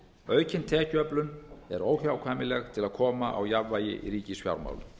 aukin tekjuöflun er óhjákvæmileg til að koma á jafnvægi í ríkisfjármálum